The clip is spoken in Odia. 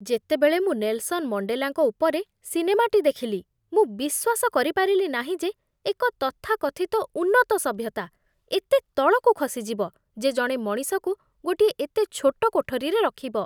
ଯେତେବେଳେ ମୁଁ ନେଲସନ ମଣ୍ଡେଲାଙ୍କ ଉପରେ ସିନେମାଟି ଦେଖିଲି, ମୁଁ ବିଶ୍ୱାସ କରିପାରିଲି ନାହିଁ ଯେ ଏକ ତଥାକଥିତ ଉନ୍ନତ ସଭ୍ୟତା ଏତେ ତଳକୁ ଖସିଯିବ ଯେ ଜଣେ ମଣିଷକୁ ଗୋଟିଏ ଏତେ ଛୋଟ କୋଠରୀରେ ରଖିବ।